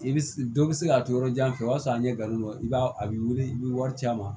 I bɛ dɔ bɛ se ka to yɔrɔ jan fɛ o y'a sɔrɔ an ye galon i b'a a b'i weele i bɛ wari ci a ma